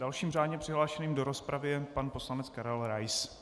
Dalším řádně přihlášeným do rozpravy je pan poslanec Karel Rais.